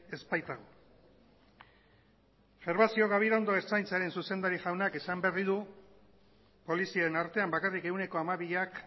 ez baitago gervasio gabirondo ertzaintzaren zuzendari jaunak esan berri du polizien artean bakarrik ehuneko hamabiak